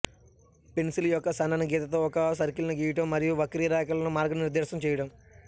pencil యొక్క సన్నని గీతతో ఒక సర్కిల్ను గీయడం మరియు వక్రరేఖలను మార్గనిర్దేశం చేయడం